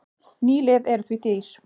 Ný lyf eru því dýr.